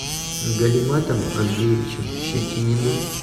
галиматом андреевичем щетининым